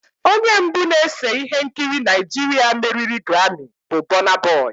Onye mbụ na-ese ihe nkiri Naịjirịa meriri grammi bụ burna boy